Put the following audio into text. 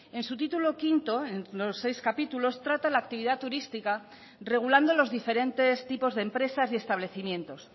en su título quinto en los seis capítulos trata la actividad turística regulando los diferentes tipos de empresas y establecimientos